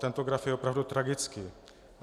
Tento graf je opravdu tragický.